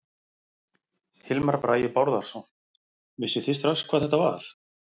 Hilmar Bragi Bárðarson: Vissuð þið strax hvað þetta var?